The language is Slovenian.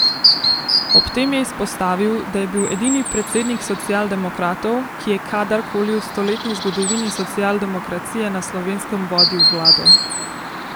Ob tem je izpostavil, da je bil edini predsednik socialdemokratov, ki je kadar koli v stoletni zgodovini socialdemokracije na Slovenskem vodil vlado.